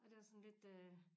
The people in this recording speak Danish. Og det var sådan lidt øh